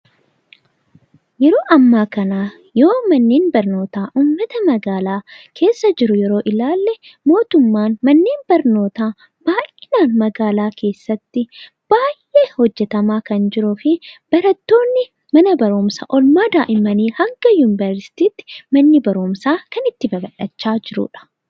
Yeroo ammaa kanaa yoo manneen barnootaa uummata magaalaa keessa jiru ilaalle mootummaan manneen barnootaa baayinaan magaalaa keessatti baay'ee hojjetamaa kan jiruu fi barattoonni mana barumsaa olmaa daa'immanii hanga Yuuniveersiitiitti manni barumsaa kan itti babal'achaa jiruudha.